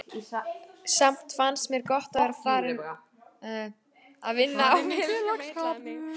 Samt fannst mér gott að vera farin að vinna og félagsskapurinn heillaði mig.